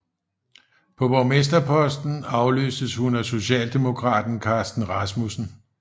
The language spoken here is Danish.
På borgmesterposten afløstes hun af socialdemokraten Carsten Rasmussen